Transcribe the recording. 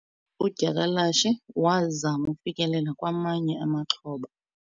udyakalashe wazama ukufikelela kwamanye amaxhoba